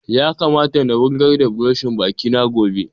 Ya kamata na wurgar da buroshin baki na gobe